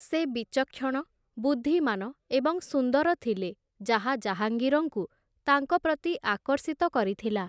ସେ ବିଚକ୍ଷଣ, ବୁଦ୍ଧିମାନ ଏବଂ ସୁନ୍ଦର ଥିଲେ, ଯାହା ଜାହାଙ୍ଗୀରଙ୍କୁ ତାଙ୍କ ପ୍ରତି ଆକର୍ଷିତ କରିଥିଲା ।